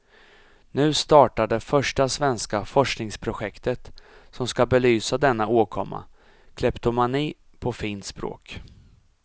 Nu startar det första svenska forskningsprojektet som ska belysa denna åkomma, kleptomani på fint språk.